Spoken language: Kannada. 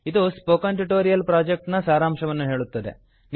ಇದು ಸ್ಪೋಕನ್ ಟ್ಯುಟೋರಿಯಲ್ ಪ್ರಾಜೆಕ್ಟ್ ನ ಸಾರಾಂಶವನ್ನು ಹೇಳುತ್ತದೆ